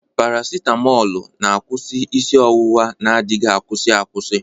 Paracitamoolu na-agwọ isi ọwụwa na adighi akwusi akwusi.